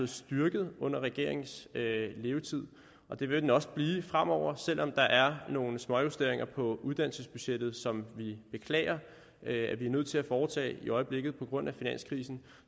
styrket under regeringens levetid og det vil den også blive fremover selv om der er nogle småjusteringer på uddannelsesbudgettet som vi beklager at vi er nødt til at foretage i øjeblikket på grund af finanskrisen